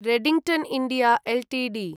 Redington India Ltd